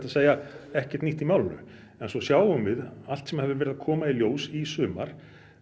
segja ekkert nýtt í málinu en svo sjáum við allt sem hefur verið að koma í ljós í sumar